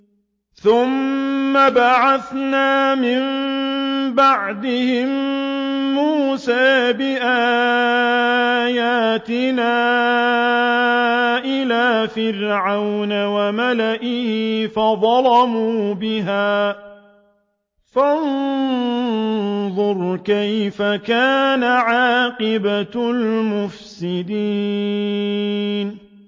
ثُمَّ بَعَثْنَا مِن بَعْدِهِم مُّوسَىٰ بِآيَاتِنَا إِلَىٰ فِرْعَوْنَ وَمَلَئِهِ فَظَلَمُوا بِهَا ۖ فَانظُرْ كَيْفَ كَانَ عَاقِبَةُ الْمُفْسِدِينَ